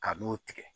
Ka n'o tigɛ